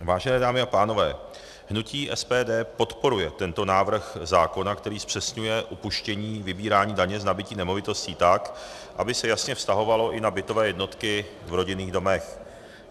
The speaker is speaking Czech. Vážené dámy a pánové, hnutí SPD podporuje tento návrh zákona, který zpřesňuje upuštění vybírání daně z nabytí nemovitostí tak, aby se jasně vztahovalo i na bytové jednotky v rodinných domech.